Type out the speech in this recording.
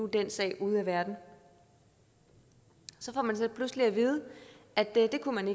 den sag ude af verden så får man så pludselig at vide at det kunne man